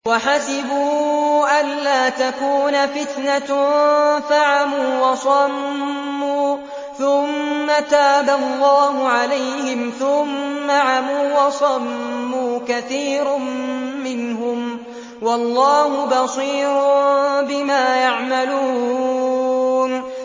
وَحَسِبُوا أَلَّا تَكُونَ فِتْنَةٌ فَعَمُوا وَصَمُّوا ثُمَّ تَابَ اللَّهُ عَلَيْهِمْ ثُمَّ عَمُوا وَصَمُّوا كَثِيرٌ مِّنْهُمْ ۚ وَاللَّهُ بَصِيرٌ بِمَا يَعْمَلُونَ